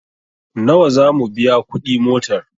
Nawa zamu biya kuɗi motar?